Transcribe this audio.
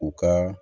U ka